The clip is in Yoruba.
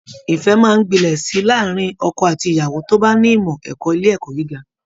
Ìfẹ́ máa ń gbilẹ̀ sí i láàárín ọkọ àti ìyàwó tó bá ní ìmọ̀ ẹ̀kọ́ ilé ẹ̀kọ́ gíga